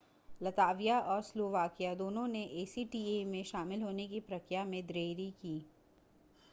लताविया और स्लोवाकिया दोनों ने acta में शामिल होने की प्रक्रिया में देरी की